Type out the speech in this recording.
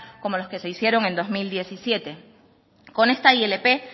como los que se hicieron en dos mil diecisiete con esta ilp